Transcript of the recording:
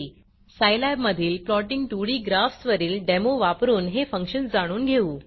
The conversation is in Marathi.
सायलॅबमधील प्लॉटिंग 2डी ग्राफ्स वरील डेमो वापरून हे फंक्शन जाणून घेऊ